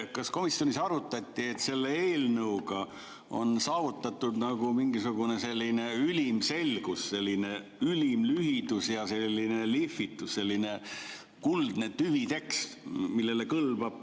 Kas komisjonis arutati, et selle eelnõuga on saavutatud mingisugune selline ülim selgus, ülim lühidus ja lihvitus, selline kuldne tüvitekst, millele kõlbab?